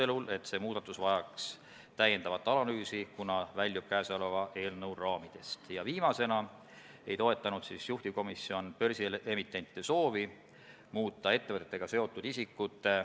Kuna Eesti raudteejaamad on reeglina suletud ja jaamaülemaid, kes klassikalisi ülesandeid täidaksid, ei ole, siis ma saan nagu aru, et kui puudega inimesed on perroonil või, ütleme, jaama juures, siis nad vaadaku ise, kuidas nad saavad.